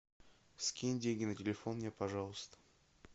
скинь деньги на телефон мне пожалуйста